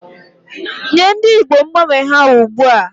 Nye ndị njem mgbanwe ha ugbu a!